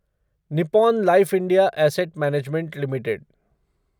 Nippon Life India Asset Management limited